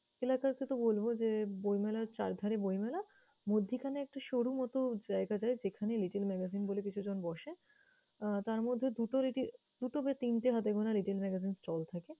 এলাকাতে তো বলবো যে, বইমেলার চারধারে বইমেলা মধ্যিখানে একটা সরুমতো জায়গা দেয় যেখানে Little Magazine বলে কিছুজন বসে। আহ তার মধ্যে দুটো বা তিনটে হাতে গোনা Little Magazine stall থাকে।